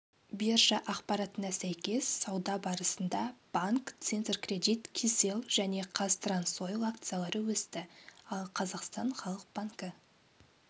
биржа ақпаратына сәйкес сауда барысында банк центркредит кселл және қазтрансойл акциялары өсті ал қазақстан халық банкі